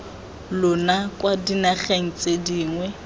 lona kwa dinageng tse dingwe